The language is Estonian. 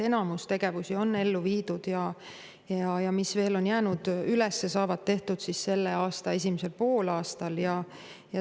Enamus tegevusi on ellu viidud ja need, mis veel on üles jäänud, saavad tehtud selle aasta esimesel poolaastal.